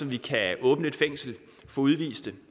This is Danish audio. vi kan åbne et fængsel for udviste